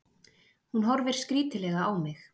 Hún horfir skrítilega á mig.